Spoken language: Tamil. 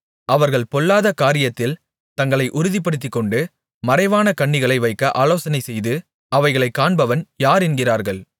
அவர்கள் பொல்லாத காரியத்தில் தங்களை உறுதிப்படுத்திக்கொண்டு மறைவான கண்ணிகளை வைக்க ஆலோசனைசெய்து அவைகளைக் காண்பவன் யார் என்கிறார்கள்